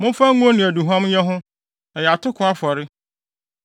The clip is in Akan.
Momfa ngo ne aduhuam nyɛ ho; ɛyɛ atoko afɔre.